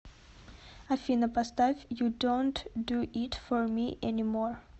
афина поставь ю донт ду ит фор ми энимор